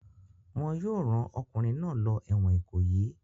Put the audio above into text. Wọn yóò rán ọkùnrin náà lọ ẹ̀wọ̀n Ìkòyí!